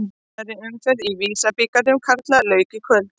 Annarri umferðinni í Visa-bikar karla lauk í kvöld.